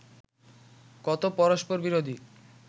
কত পরস্পরবিরোধী